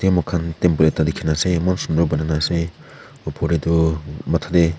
amah khan temple ekta dikhina ase eman shundur banai nah opor teh tuh matha teh--